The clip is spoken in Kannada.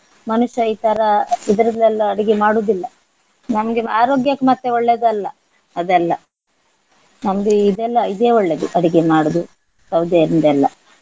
ಮನುಷ್ಯ ಈ ತರ ಇದರಲ್ಲಿ ಎಲ್ಲ ಅಡಿಗೆ ಮಾಡುದಿಲ್ಲ. ನಮ್ಗೆ ಆರೋಗ್ಯಕ್ಕೆ ಮತ್ತೆ ಒಳ್ಳೆದಲ್ಲ ಅದೆಲ್ಲ. ನಮ್ಗೆ ಇದೆಲ್ಲ ಇದೇ ಒಳ್ಳೇದು ಅಡುಗೆ ಮಾಡುದು ಸೌದೆಯಿಂದ ಎಲ್ಲ.